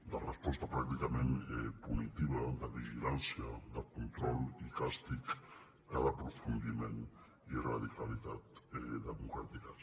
de resposta pràcticament punitiva de vigilància de control i càstig que d’aprofundiment i radicalitat democràtiques